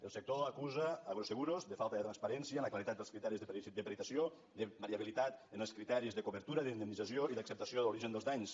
el sector acusa agroseguros de falta de transparència en la claredat dels criteris de peritatge de variabilitat en els criteris de cobertura i d’indemnització i d’acceptació de l’origen dels danys